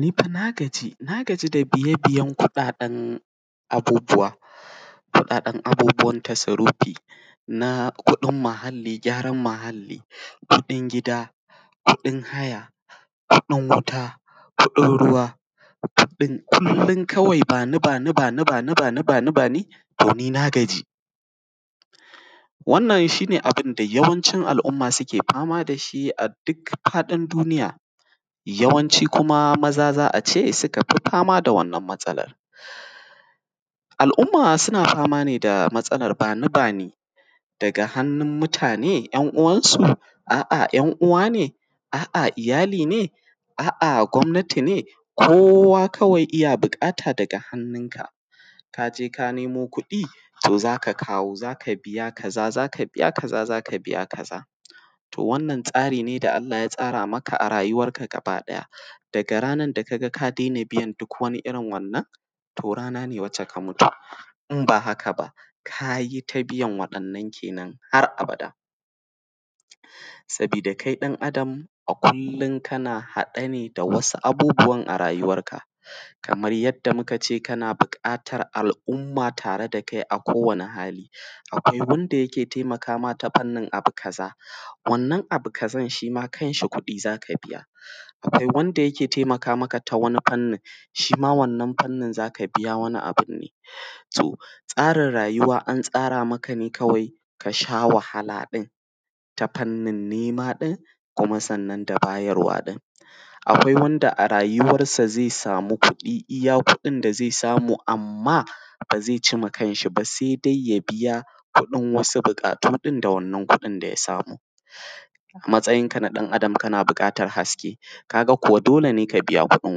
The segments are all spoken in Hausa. Ni fa na gaji, na gaji da biye-biyen kuɗaɗen abubuwa! Kuɗaɗen abubuwan tasrufi na kuɗin muhalli, gyaran mahalli, kuɗin gida, kuɗin haya, kuɗin wuta, kuɗin ruwa, kuɗin, kullum kawai ba ni-ba ni, ba ni-ba ni, ba ni-ba ni, ba ni-ba ni, ba ni-ba ni, ba ni-ba ni, ba ni-ba ni, to ni na gaji! Wannan shi ne abun da yawancin al'umma suke fama da shi a duk faɗin duniya. Yawanci kuma maza za a ce suka fi fama da wannan matsalar. Al'umma suna fama ne da matsalar ba ni-ba ni daga hannun mutane 'yan'uwansu? A'a, 'yan'uwa ne? A'a. Iyali ne? A'ah gwamnati ne? Kowa kawai iya buƙata daga hannunka. Ka je ka nemo kuɗi, to za ka kawo, za ka biya kaza, za ka biya kaza, za ka biya kaza. To, wannan tsari ne da Allah ya tsara maka a rayuwarka gabaɗaya. Daga ranar da ka ga ka daina biyan duk wani irin wannan, to rana ne wacce ka mutu. In ba haka ba, ka yi ta biyan waɗannan ke nan har abada, sabida kai ɗan’adam a kullum kana haɗe ne da wasu abubuwan a rayuwarka, kamar yadda muka ce kana buƙatar al'umma tare da kai a kowane hali. Akwai wanda yake taimaka ma ta fannin abu kaza. Wannan abu kazan shi ma kanshi kuɗi za ka biya. Akwai wanda yake taimaka maka ta wani fannin. Shi ma wannan fannin za ka biya wani abu ne. To, tsarin rayuwa an tsara maka ne kawai, ka sha wahala ɗin, ta fannin nema ɗin, kuma sannan da bayarwa ɗin. Akwai wanda a rayuwarsa zai samu kudi iya kudin da zai samu, amma ba zai ci ma kanshi ba, sai dai ya biya kuɗin wasu buƙatu ɗin da wannan kuɗin da ya samu. Matsayinka na ɗan’adam kana buƙatar haske. Ka ga kuwa dole ne ka biya kuɗin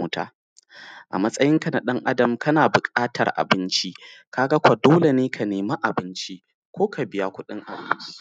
wuta. A matsayinka na ɗan’adam, kana buƙatar abinci. Ka ga kuwa dole ne ka nemi abinci, ko ka biya kudin abinci.